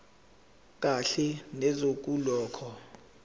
kahle neze kulokho